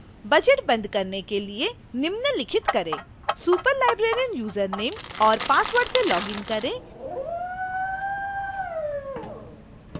budget बंद करने के लिए निम्नलिखित करें